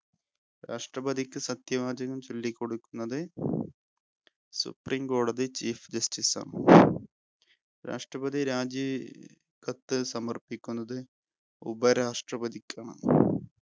രാഷ്ട്രപതിക്ക് സത്യവാചകം ചൊല്ലിക്കൊടുക്കുന്നത് supreme കോടതി chief justice ആണ്. രാഷ്‌ട്രപതി രാജി കത്ത് സമർപ്പിക്കുന്നത് ഉപരാഷ്ട്രപതിക്കാണ്.